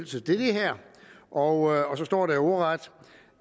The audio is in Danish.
til det her og så står der jo ordret